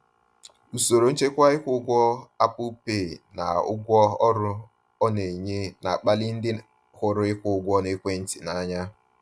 Usoro nchekwa ịkwụ ụgwọ Apple Pay na ụgwọ ọrụ ọ na-enye na-akpali ndị hụrụ ịkwụ ụgwọ n’ekwentị n’anya.